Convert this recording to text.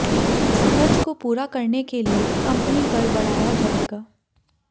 इस खर्च को पूरा करने के लिये कंपनी कर बढ़ाया जाएगा